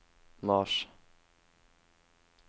mars